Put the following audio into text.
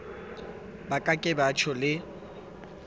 ba ka ke tjho le